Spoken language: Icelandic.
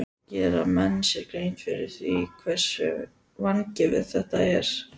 Gera menn sér grein fyrir því hversu vangefið þetta er?